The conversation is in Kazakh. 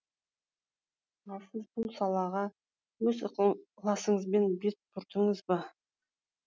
ал сіз бұл салаға өз ықыласыңызбен бет бұрдыңыз ба